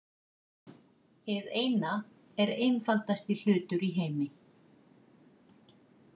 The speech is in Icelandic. Hið Eina er einfaldasti hlutur í heimi.